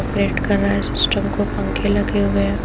Operate कर रहा है सिस्टम को पंखे लगे हुए हैं।